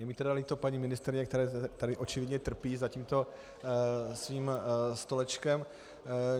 Je mi tedy líto paní ministryně, která tady očividně trpí za tímto svým stolečkem.